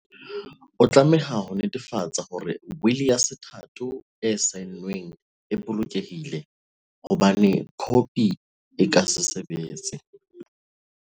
O tlameha ho netefatsa hore wili ya sethatho e saenweng e bolokehile, ho bane khopi e ka se sebetse.